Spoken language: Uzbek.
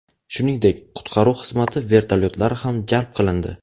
Shuningdek, qutqaruv xizmati vertolyotlari ham jalb qilindi.